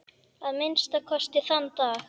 Að minnsta kosti þann dag.